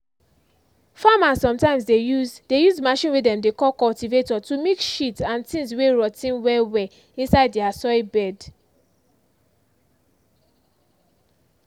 farmers sometimes dey use dey use machine way dem dey call cultivator to mix shit and things way rot ten well well inside their soil bed.